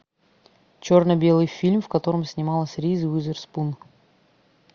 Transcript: черно белый фильм в котором снималась риз уизерспун